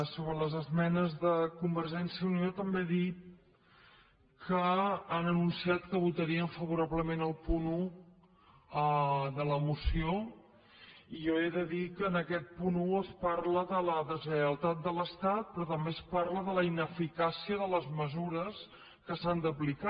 sobre les esmenes de convergència i unió també he dit que han anunciat que votarien favorablement el punt un de la moció i jo he de dir que en aquest punt un es parla de la deslleialtat de l’estat però també es parla de la ineficàcia de les mesures que s’han d’aplicar